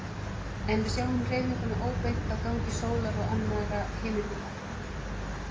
En við sjáum hreyfinguna óbeint á gangi sólar og annarra himinhnatta.